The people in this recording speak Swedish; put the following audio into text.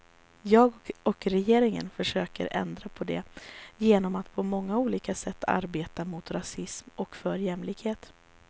Jag och regeringen försöker ändra på det genom att på många olika sätt arbeta mot rasism och för jämställdhet.